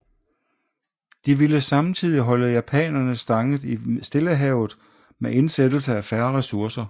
De ville samtidig holde japanerne stangen i Stillehavet med indsættelse af færre ressourcer